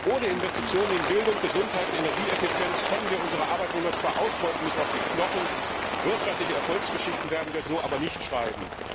Ohne Investitionen in Bildung, Gesundheit und Energieeffizienz können wir unsere Arbeitnehmer zwar ausbeuten bis auf die Knochen, wirtschaftliche Erfolgsgeschichten werden wir so aber nicht schreiben.